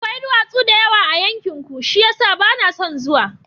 Akwai duwatsu da yawa a yankinku, shi ya sa ba na son zuwa.